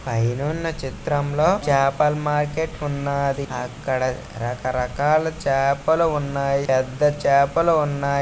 పైనున్న చిత్రంలో చేపల మార్కెట్ ఉన్నది. అక్కడ రకరకాల చేపలు ఉన్నాయి. పెద్ద చేపలు ఉన్నాయి.